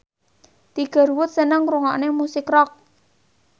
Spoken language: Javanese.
Tiger Wood seneng ngrungokne musik rock